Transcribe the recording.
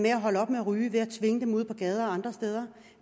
at holde op med at ryge at ud på gaden og andre steder